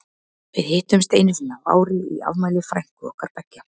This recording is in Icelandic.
Við hittumst einu sinni á ári í afmæli frænku okkar beggja.